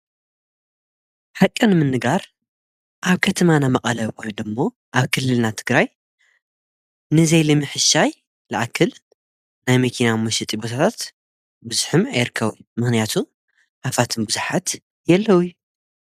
ሓቂ ንምንጋር ኣብ ከተማና መቐለ ወይደሞ ኣብ ክልልና ትግራይ ንዘይልምሕሻይ ልኣክል ናይ መኪና መሸጢ ቦታታት ብዙሕም ኣይርከቢ ምኽንያቱ ሃፋትም ብዙኃት የለዉይ።